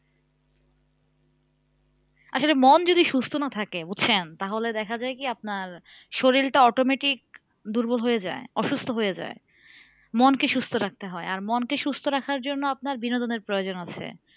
আসলে মন যদি সুস্থ না থাকে বুঝছেন? তাহলে দেখা যাই কি আপনার শরীরটা automatic দুর্বল হয়ে যায় অসুস্থ হয়ে যায় মনকে সুস্থ রাখতে হয় আর মনকে সুস্থ রাখার জন্য আপনার বিনোদনের প্রয়োজন আছে।